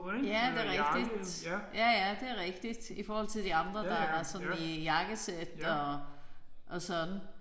Ja det er rigtigt. Ja ja det er rigtigt i forhold til de andre der er sådan i jakkesæt og og sådan